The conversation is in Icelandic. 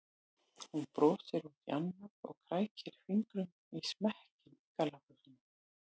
Hún brosir út í annað og krækir fingrum í smekkinn á gallabuxunum.